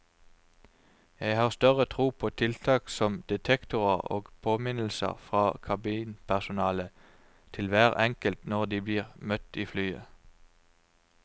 Jeg har større tro på tiltak som detektorer og påminnelser fra kabinpersonalet til hver enkelt når de blir møtt i flyet.